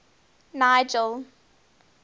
nigel